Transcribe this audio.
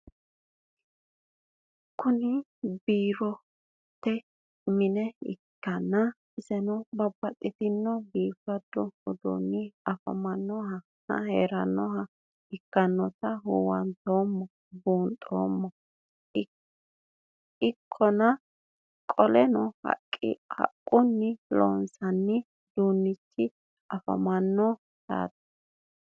Kuni boroote mine ikanna isino babaxino bifado udunicho afirinohanna heeranoha ikinota huwantemo bunxemoha ikana qoleno haqquni loonsoni udunichino afamano yaate?